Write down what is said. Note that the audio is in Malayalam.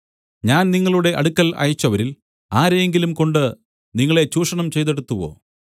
ഞാൻ നിങ്ങളുടെ അടുക്കൽ അയച്ചവരിൽ ആരെയെങ്കിലുംകൊണ്ട് നിങ്ങളെ ചൂഷണം ചെയ്തെടുത്തുവോ